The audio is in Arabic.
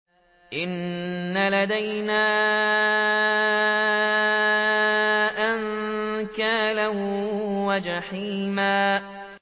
إِنَّ لَدَيْنَا أَنكَالًا وَجَحِيمًا